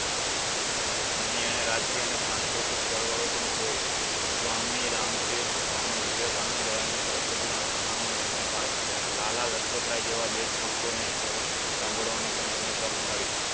અહીં એને રાજકીય અને સાંસ્કૃતિક ચળવળો પણ જોઈ સ્વામી રામતીર્થ, સ્વમીવીવેકાનંદ, દયાનંદ સરસ્વતીના લખાણો એણે વાંચ્યા લાલાલચપતરાય જેવા દેશ ભક્તો ને જેવા સાંભળવાની પણ એને તક મળી